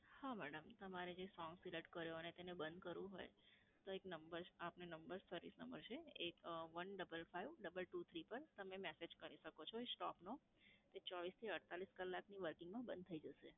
હા madam. તમારે જે song select કર્યો અને તેને બંધ કરવું હોય, તો એક number, આપને number service number છે એક, one, double five, double two, three પર તમે message કરી શકો છો stop નો. તે ચોવ્વીસ થી અડતાલીસ કલાકની વચમાં બંધ થઈ જશે.